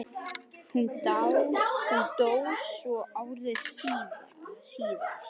Hún dó svo ári síðar.